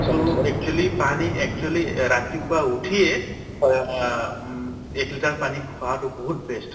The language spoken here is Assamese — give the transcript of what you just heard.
to actually পানী actually ৰাতিপুৱা উঠিয়ে অ উম এক liter পানী খোৱাতো বহুত best